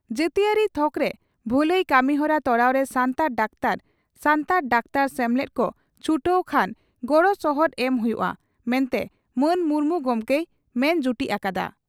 ᱡᱟᱹᱛᱤᱭᱟᱹᱨᱤ ᱛᱷᱚᱠᱨᱮ ᱵᱷᱟᱹᱞᱟᱹᱭ ᱠᱟᱹᱢᱤᱦᱚᱨᱟ ᱛᱚᱨᱟᱣᱨᱮ ᱥᱟᱱᱛᱟᱲ ᱰᱟᱠᱛᱟᱨ ᱥᱟᱱᱛᱟᱲ ᱰᱟᱠᱛᱟᱨ ᱥᱮᱢᱞᱮᱫ ᱠᱚ ᱪᱷᱩᱴᱟᱹᱣ ᱠᱷᱟᱱ ᱜᱚᱲᱥᱚᱦᱚᱫ ᱮᱢ ᱦᱩᱭᱩᱜᱼᱟ ᱢᱮᱱᱛᱮ ᱢᱟᱱ ᱢᱩᱨᱢᱩ ᱜᱚᱢᱠᱮᱭ ᱢᱮᱱ ᱡᱩᱴᱤᱡ ᱟᱠᱟᱫᱼᱟ ᱾